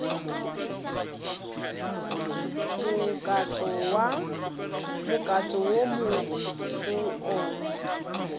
mokato wo mo go ona